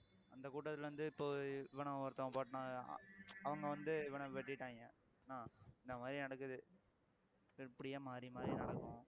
அந்த கூட்டத்துல இருந்து இப்போ இவனை ஒருத்தன் அவங்க வந்து இவனை வெட்டிட்டாங்க என்ன ஆஹ் இந்த மாதிரி நடக்குது இப்படியே மாறி மாறி நடக்கும்